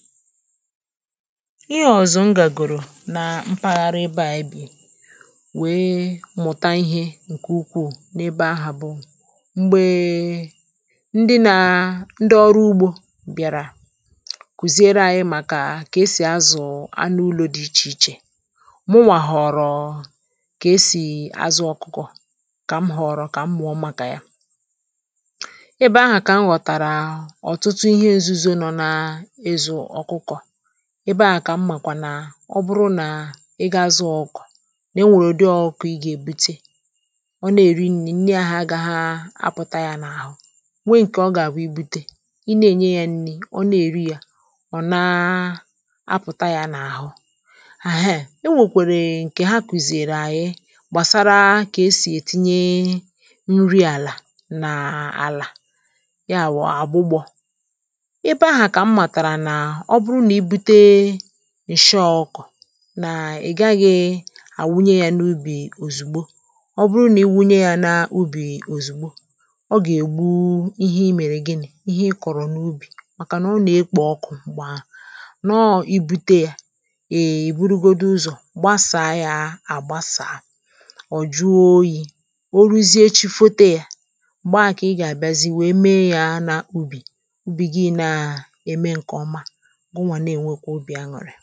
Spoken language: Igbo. ihe ọ̀zọ m gàgòrò na mpaghara ebe à ebè wee mụ̀ta ihe nke ukwuù n’ebe ahụ̀ bụ m̀gbèe ndị nà ndị ọrụ ugbȯ bịàrà kùziere àyị màkà kà e sì azụ̀ anụ ụlọ̇ dị ichè ichè muwà họ̀rọ̀ kà e sì azụ̀ ọkụkọ̀ kà m họ̀rọ̀ kà m gbàọ màkà ya ebe ahụ̀ kà m ghọ̀tàrà ọ̀tụtụ ihe nzuzo nọ nà ebe à kà m màkwà nà ọ bụrụ nà ị ga zụọ ọkụ̇ nà e nwèrè ụdị ọkụkọ̇ ị gà-èbute ọ na-èri nni̇ nne à ha gà ha apụ̀ta nà àhụ nwe ǹkè ọ gà-àbụ ibute ị na-ènye yȧ nni̇ ọ na-èri yȧ ọ̀ naa apụ̀ta yȧ n’àhụ àhụ e nwèkwèrè ǹkè ha kwùzìrì ànyị gbàsara kà esì ètinye nri àlà nà àlà ya wụ̀ àgbụgbọ ọ bụrụ nà i bute ǹshọ ọkụ̀ nà ị gaghị̇ àwụnye yȧ n’ubì òzùgbo ọ bụrụ nà i wunye yȧ n’ubì òzùgbo ọ gà-ègbu ihe i mèrè gịnị̇ ihe ị kọ̀rọ̀ n’ubì màkà nà ọ nà-ekpò ọkụ̇ m̀gbè ahụ̀ nọọ i bute yȧ èyè ìburugodu ụzọ̀ gbasà yà àgbasà à jụọ oyi̇ oruzie chi fote yȧ m̀gbè a kà ị gà-àbịazi wee mee yȧ n’ubì ubi gị na-ème nkè ọma unwa na-enwekwa obi aṅụrị